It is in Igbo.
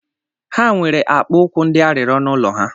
Ha nwere akpụ ụkwụ ndị arịrịo n'ulo ha